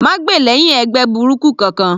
Má gbè lẹ́hìn ẹgbẹ́ burúkú kankan.